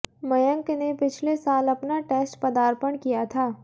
मयंक ने पिछले साल अपना टेस्ट पदार्पण किया था